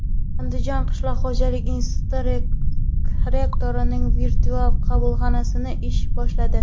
Andijon qishloq xo‘jalik instituti rektorining virtual qabulxonasi ish boshladi.